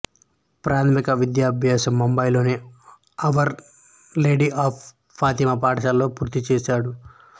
ప్రాథమిక విద్యాభ్యాసం ముంబై లోని అవర్ లేడీ ఆఫ్ ఫాతిమా పాఠశాలలో పూర్తిచేసాడు